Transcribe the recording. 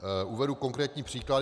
Uvedu konkrétní příklad.